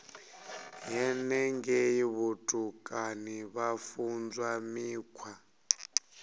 henengei vhutukani vha funzwa mikhwa